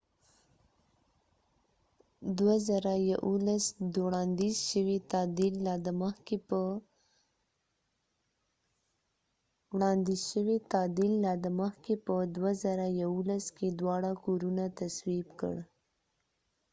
وړاندیز شوی تعدیل لا د مخکې په ۲۰۱۱ کې دواړه کورونه تصویب کړ